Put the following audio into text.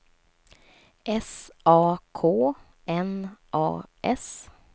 S A K N A S